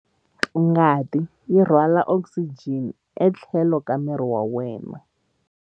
Ngati yi rhwala okisijeni etlhelo ka miri wa wena.